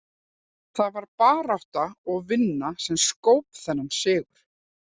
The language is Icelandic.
Það var barátta og vinna sem skóp þennan sigur.